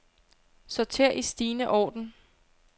Sorter i stigende orden.